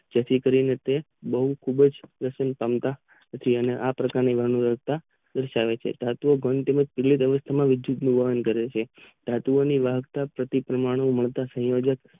જેથી કરીને તે બોવ ખુબજ ઉપાસનતા પછી આ પ્રકાર ની વ્ય્વસ્થા પૂછાયેલી વિદ્યુત નું વહન કરે છે ધાતુ ઓ માં